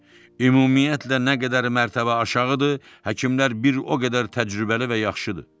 Ümumiyyətlə nə qədər mərtəbə aşağıdır, həkimlər bir o qədər təcrübəli və yaxşıdır.